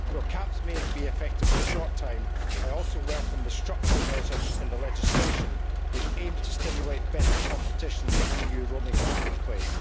While caps may be effective in the short term, I also welcome the structural measures in the legislation which aim to stimulate better competition in the EU roaming marketplace.